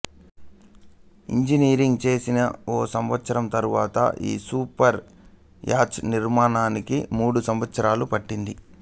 engineering చేసిన ఒక సంవత్సరం తరువాత ఈ సూపర్ యాచ్ నిర్మాణానికి మూడు సంవత్సరాలు పట్టింది